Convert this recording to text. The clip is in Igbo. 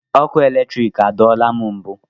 Ọkụ eletrik adọọla m mbụ.